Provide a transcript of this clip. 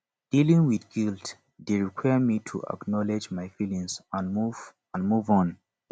dealing with guilt dey require me to acknowledge my feelings and move and move on